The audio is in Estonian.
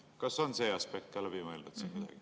Kas see aspekt on ka läbi mõeldud?